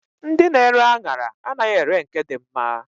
Ndị na-ere aṅara anaghị ere nke dị mma.